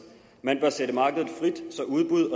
man bør sætte markedet frit så udbud